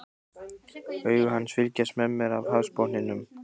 Augu hans fylgjast með mér af hafsbotninum.